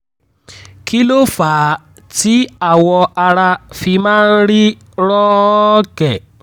kí ló fà á tí awọ ara fi máa ń rí rọ́ọ̀kẹ́?